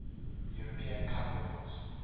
european cup winners